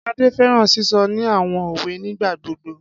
Ade fẹran sisọ ni awọn owe nigbagbogbo.